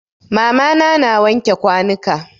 Mama na na wanke kwanuka.